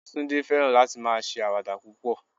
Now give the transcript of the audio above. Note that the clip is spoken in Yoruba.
Tunde fẹ́ràn láti máa ṣe àwàdà púpọ̀